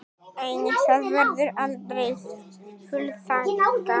Einnig það verður aldrei fullþakkað.